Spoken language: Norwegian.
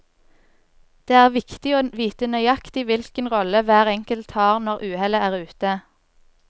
Det er viktig å vite nøyaktig hvilken rolle hver enkelt har når uhellet er ute.